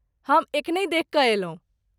हम एखनहि देखि कऽ अयलहुँ।